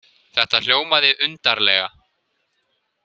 Þetta hljómaði undarlega.